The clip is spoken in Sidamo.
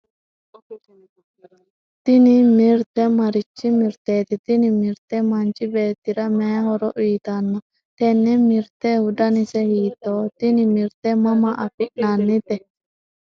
tini mirte marichi mirteeti? tini mirte manchi beettira mayii horo uyiitanno? tenne mirtehu danise hiittooho? tini mirte mama afi'nannite ?